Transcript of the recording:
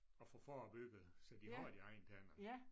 Og få forebygget så de har deres egne tænder